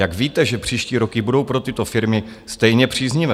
Jak víte, že příští roky budou pro tyto firmy stejně příznivé?